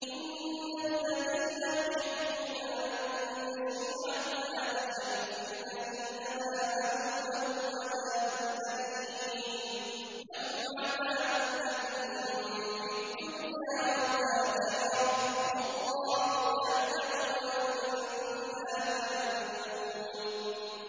إِنَّ الَّذِينَ يُحِبُّونَ أَن تَشِيعَ الْفَاحِشَةُ فِي الَّذِينَ آمَنُوا لَهُمْ عَذَابٌ أَلِيمٌ فِي الدُّنْيَا وَالْآخِرَةِ ۚ وَاللَّهُ يَعْلَمُ وَأَنتُمْ لَا تَعْلَمُونَ